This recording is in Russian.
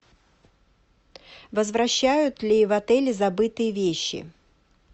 возвращают ли в отеле забытые вещи